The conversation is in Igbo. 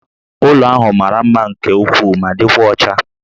Ụlọ ahụ mara mma nke ukwuu ma dịkwa ọcha